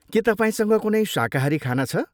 के तपाईँसँग कुनै शाकाहारी खाना छ?